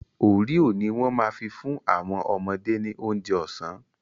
Oreo ni wọ́n ma fi fún àwọn ọmọdé ní oúnjẹ ọ̀sán